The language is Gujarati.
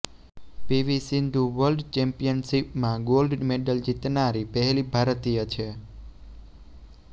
પીવી સિંધુ વર્લ્ડ ચેમ્પિયનશિપમાં ગોલ્ડ મેડલ જીતનારી પહેલી ભારતીય છે